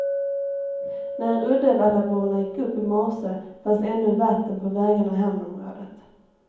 När uddevallaborna gick upp i morse fanns ännu vatten på vägarna i hamnområdet.